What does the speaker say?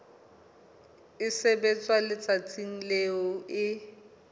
e sebetswa letsatsing leo e